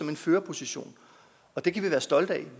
en førerposition det kan vi være stolte af